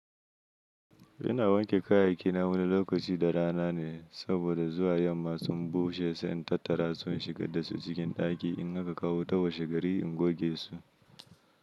Ina wanke kayaki na wani lokaci da rana ne saboda zuwa yamma sun bushe sai in tattara su in shigar da su cikin ɗaki in haka kawo wuta washegari in goge su.